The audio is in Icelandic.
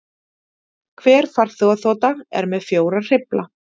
Hver farþegaþota er með fjóra hreyfla